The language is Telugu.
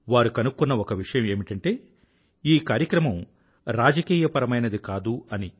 వారు కనుక్కున్న ఒక విషయం ఏమిటంటే ఈ కార్యక్రమం అపోలిటికల్ రాజకీయపరమైనది కాదు అని